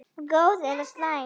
Góð eða slæm?